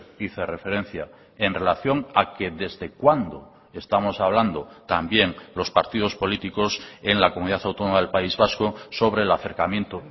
hice referencia en relación a que desde cuándo estamos hablando también los partidos políticos en la comunidad autónoma del país vasco sobre el acercamiento